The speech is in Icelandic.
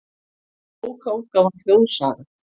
Bókaútgáfan Þjóðsaga.